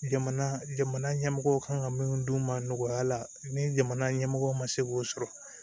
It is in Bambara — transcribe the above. Jamana jamana ɲɛmɔgɔw kan ka min dun u ma nɔgɔya la ni jamana ɲɛmɔgɔ ma se k'o sɔrɔ